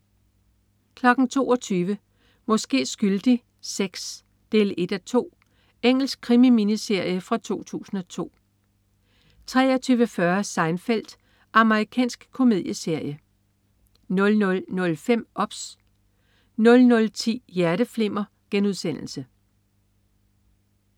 22.00 Måske skyldig VI 1:2. Engelsk krimi-miniserie fra 2002 23.40 Seinfeld. Amerikansk komedieserie 00.05 OBS 00.10 Hjerteflimmer*